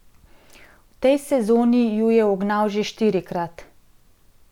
V tej sezoni ju je ugnal že štirikrat.